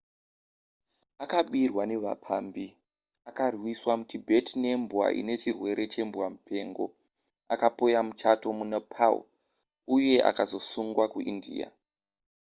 akabirwa nevapambi akarwiswa mutibet nembwa inechirwere chembwamupengo akapoya muchato munepal uye akazosungwa kuindia